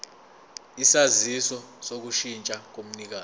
isaziso sokushintsha komnikazi